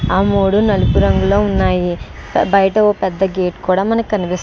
ఆ మూడు నలుపు రంగు లో ఉన్నాయి. బయట ఓ పెద్ద గేట్ కూడా మనకి కనిప్ --